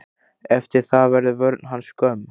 Eftir það verður vörn hans skömm.